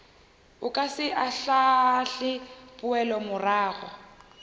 o ka se ahlaahle poelomorago